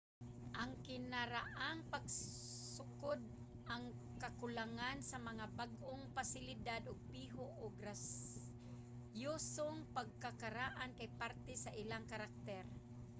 ang kinaraang pagsukod ang kakulangan sa mga bag-ong pasilidad ug piho ug grasyosong pagkakaraan kay parte sa ilang karakter